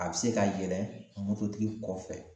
A be se ka yɛlɛ mototigi kɔfɛ